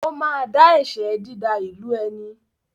Ó ma dá ẹ̀ṣẹ “dída ìlú ẹni ”.